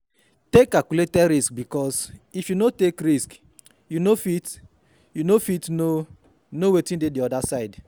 Take calculate risk bikos if you no take risk you fit no fit no no wetin dey di oda side